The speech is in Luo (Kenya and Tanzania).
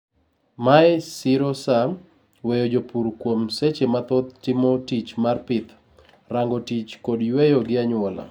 mae siro saa, weyo jopur kuom seche mathoth timo tich mar pith, rango tich kod yueyo gi anyuola